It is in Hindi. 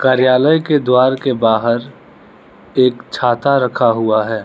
कार्यालय के द्वार के बाहर एक छाता रखा हुआ है।